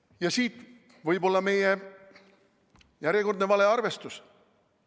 Ja siit võib-olla meie järjekordne valearvestus.